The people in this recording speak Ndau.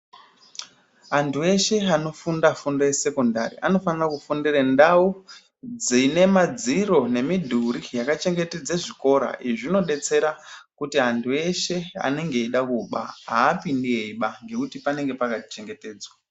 Antu eshe anofunda fundo yesekondari, anofanira kufundira ndau dzine madziro nemidhuri yakachengetedze zvikora, izvi zvinodetsera kuti antu eshe anenge eida kuba, aapindi eiba ngekuti panenge pakachengetedzwa.